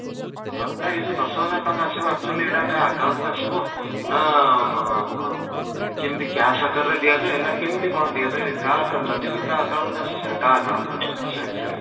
ହଁ, ନାଇଁ ୟେ ଯୋଉ ଦଶ ହଜାର ଟଙ୍କା ଆସିବା actually ସେଇଟା କା account କୁ ଆସିବ ନା ମଁ ମ କେମିତି cash ଆକାର ରେ ଦିଆଯାଏ ନା କେମିତି କ'ଣ ଦିଆଯାଏ କା account ରେ ଯଦି ବି କାହା account କୁ ଆସେ ସେଇଟା କାହା account କୁ ଆସେ ?